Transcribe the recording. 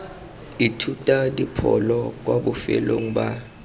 ithuta dipholo kwa bofelong ba